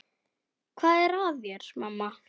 Hvað er að þér, mamma?